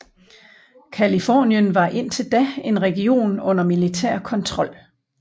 Californien var indtil da en region under militær kontrol